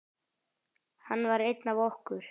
Hann var einn af okkur.